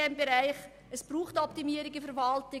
Es braucht Optimierungen in der Verwaltung.